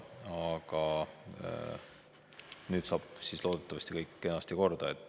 Nüüd saab siis loodetavasti kõik kenasti korda.